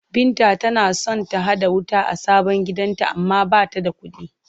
Binta tana son ta haɗa wuta a sabon gidanta amma ba ta da kuɗi.